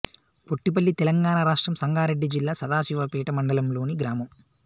పొట్టిపల్లి తెలంగాణ రాష్ట్రం సంగారెడ్డి జిల్లా సదాశివపేట మండలంలోని గ్రామం